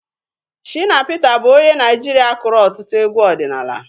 Shịna Pịta bụ onye Naịjirịa kụrụ ọtụtụ egwu ọdịnala.